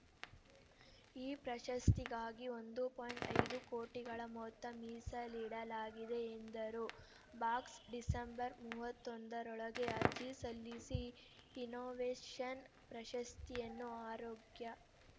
ಈ ಪ್ರಶಸ್ತಿಗಾಗಿ ಒಂದು ಪಾಯಿಂಟ್ ಐದು ಕೋಟಿಗಳ ಮೊತ್ತ ಮೀಸಲಿಡಲಾಗಿದೆ ಎಂದರು ಬಾಕ್ಸ್‌ಡಿಸೆಂಬರ್‌ ಮೂವತ್ತೊಂದರೊಳಗೆ ಅರ್ಜಿ ಸಲ್ಲಿಸಿ ಇನ್ನೋವೇಷನ್‌ ಪ್ರಶಸ್ತಿಯನ್ನು ಆರೋಗ್ಯ